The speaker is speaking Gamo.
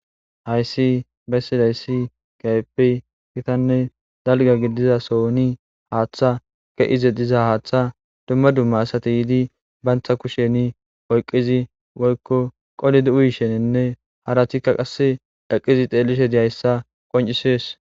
Hayissi bessidayissi kehippe gittane daliga gidida sohoni hatha beyide diza assati banitta kusheni oyikidi woyikko qolidi uyishe dizayisane harrati xelishe dizayissa qoncisesi